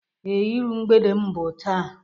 Ee, ịru mgbede m bu taa.